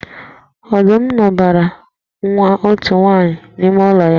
Ọdum dọbara nwa otu nwaanyị n’ime ụlọ ya